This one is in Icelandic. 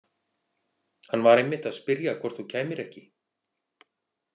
Hann var einmitt að spyrja hvort þú kæmir ekki.